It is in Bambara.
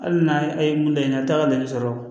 Hali n'a ye mun laɲini a t'a dɔn i bɛ sɔrɔ